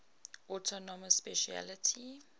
autonomous specialty